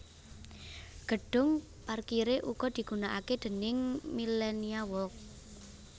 Gedhung parkiré uga digunakake déning Millenia Walk